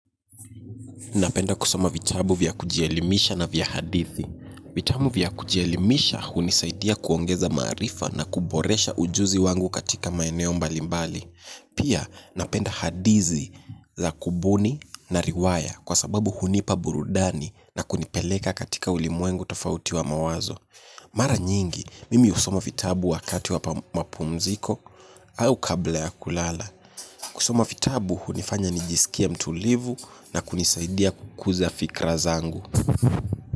Napenda kusoma vitabu vya kujielimisha na vya hadithi. Vitabu vya kujielimisha hunisaidia kuongeza maarifa na kuboresha ujuzi wangu katika maeneo mbalimbali. Pia napenda hadithi za kubuni na riwaya kwa sababu hunipa burudani na kunipeleka katika ulimwengu tofauti wa mawazo. Mara nyingi, mimi husoma vitabu wakati wa mapumziko au kabla ya kulala. Kusoma vitabu hunifanya nijisikie mtulivu na kunisaidia kukuza fikra zangu.